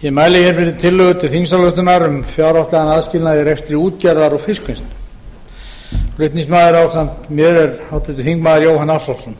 ég mæli hér fyrir tillögu til þingsályktunar um fjárhagslegan aðskilnað í rekstri útgerðar og fiskvinnslu flutningsmaður ásamt mér er háttvirtur þingmaður jóhann ársælsson